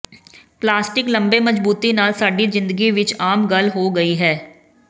plastic ਲੰਬੇ ਮਜ਼ਬੂਤੀ ਨਾਲ ਸਾਡੀ ਜ਼ਿੰਦਗੀ ਵਿਚ ਆਮ ਗੱਲ ਹੋ ਗਈ ਹੈ